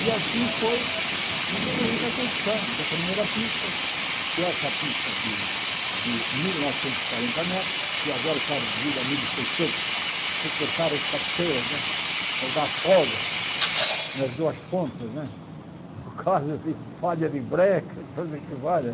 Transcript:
E assim foi evoluindo a construção da primeira pista, que é essa pista de de mil novescentos e quarenta metros, que agora está reduzida a mil e seiscentos, que cortaram as cabeceiras para dar folga nas duas pontas né, no caso de falha de breca, coisa que falha.